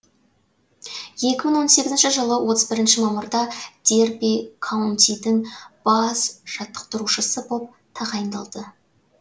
екі мың он сегізінші жылы отыз бірінші мамырда дерби каунтидің бас жаттықтырушысы боп тағайындалды